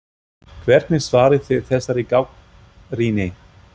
Hvernig svarið þið þessari gagnrýni?